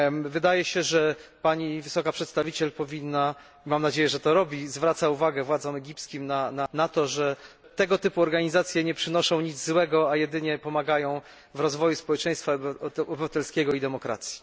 Wydaje się, że Wysoka Przedstawiciel powinna mam nadzieję, że to robi zwracać uwagę władzom egipskim na to, że tego typu organizacje nie przynoszą nic złego, a jedynie pomagają w rozwoju społeczeństwa obywatelskiego i demokracji.